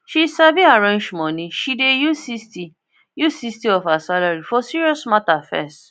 she sabi arrange money she dey use sixty use sixty of her salary for serious matter first